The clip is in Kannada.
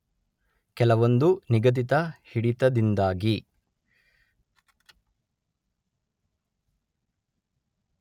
ಕೆಲವೊಂದು ನಿಗದಿತ ಹಿಡಿತದಿಂದಾಗಿ